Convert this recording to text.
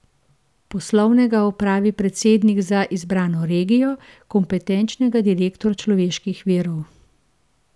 Poslovnega opravi predsednik za izbrano regijo, kompetenčnega direktor človeških virov.